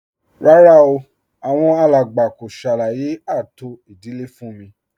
Rárá o, àwọn alàgbà kò ṣàlàyé ààtò ìdílé fún m